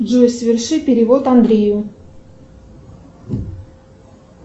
джой соверши перевод андрею